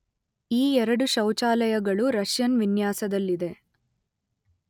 ಈ ಎರಡು ಶೌಚಾಲಯಗಳು ರಷ್ಯನ್ ವಿನ್ಯಾಸದಲ್ಲಿದೆ